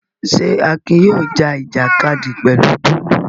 Ṣé Akin yóò já ìjàkadì pẹ̀lú Bólú?